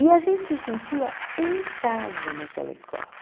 E a gente se sentia em casa naquela escola.